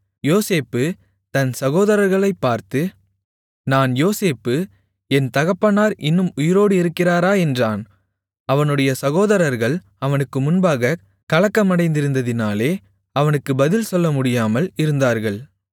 யோசேப்பு தன் சகோதரர்களைப்பார்த்து நான் யோசேப்பு என் தகப்பனார் இன்னும் உயிரோடு இருக்கிறாரா என்றான் அவனுடைய சகோதரர்கள் அவனுக்கு முன்பாகக் கலக்கமடைந்திருந்ததினாலே அவனுக்கு பதில் சொல்லமுடியாமல் இருந்தார்கள்